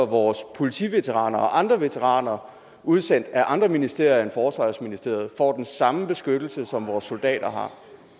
vores politiveteraner og andre veteraner udsendt af andre ministerier end forsvarsministeriet får den samme beskyttelse som vores soldater har